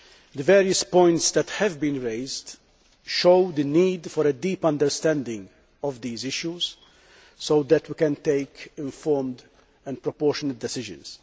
The various points which have been raised show the need for a deep understanding of these issues so that we can take informed and proportionate decisions.